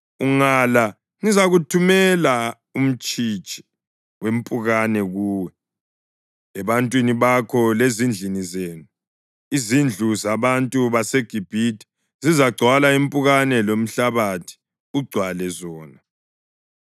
Ungala, ngizathumela umtshitshi wempukane kuwe, ebantwini bakho lezindlini zenu. Izindlu zabantu baseGibhithe zizagcwala impukane lomhlabathi ugcwale zona.